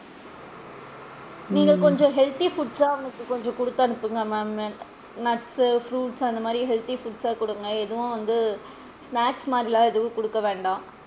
நீங்க கொஞ்சம் healthy foods சா அவனுக்கு கொஞ்சம் குடுத்து அனுப்புங்க ma'am nuts fruits சு அந்த மாதிரி healthy foods சா குடுங்க எதுவும் வந்து snacks மாதிரிலா எதுவும் குடுக்க வேண்டாம்.